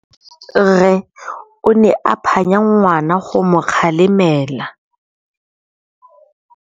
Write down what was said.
Rre o ne a phanya ngwana go mo galemela.